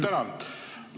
Tänan!